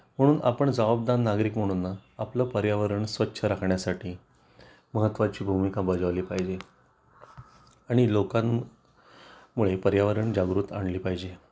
म्हणून आपण जबाबदार नागरिक म्हणून ना आपलं पर्यावरण स्वच्छ राखण्यासाठी महत्वाची भूमिका बजावली पाहिजे आणि लोकांनमध्ये पर्यावरण जागृती आणली पाहिजे